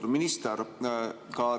Austatud minister!